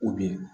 U bɛ yen